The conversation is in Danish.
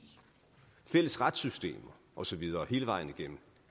fælles retssystemer og så videre hele vejen igennem